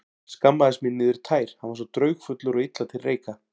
Skammaðist mín niður í tær, hann var svo draugfullur og illa til reika.